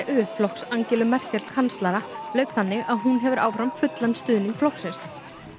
flokks Angelu Merkel kanslara lauk þannig að hún hefur áfram fullan stuðning flokksins